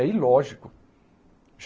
É ilógico.